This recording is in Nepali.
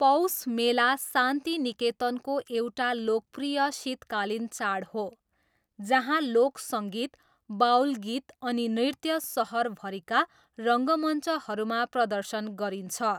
पौष मेला शान्तिनिकेतनको एउटा लोकप्रिय शीतकालीन चाड हो, जहाँ लोक सङ्गीत, बाउल गीत अनि नृत्य सहरभरिका रङ्गमञ्चहरूमा प्रदर्शन गरिन्छ।